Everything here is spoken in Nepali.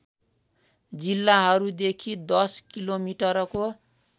जिल्लाहरूदेखि दश किलोमिटरको